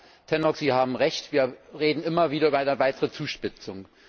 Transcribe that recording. Ja, Herr Tannock, Sie haben Recht Wir reden immer wieder über eine weitere Zuspitzung.